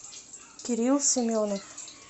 кирилл семенов